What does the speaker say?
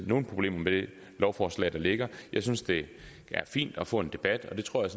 nogen problemer med det lovforslag der ligger jeg synes det er fint at få en debat og det tror jeg